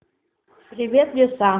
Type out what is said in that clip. привет лиса